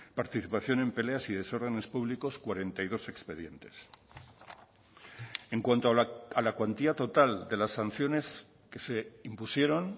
participación en peleas y desórdenes públicos cuarenta y dos expedientes en cuanto a la cuantía total de las sanciones que se impusieron